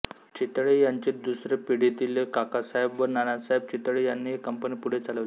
चितळे यांची दुसरी पिढीतीले काकासाहेब व नानासाहेब चितळे यांनी ही कंपनी पुढे चालवली